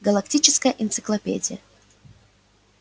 галактическая энциклопедия